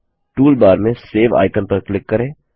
toolbar में save icon पर click करें